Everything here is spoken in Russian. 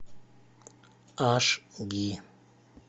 аш ди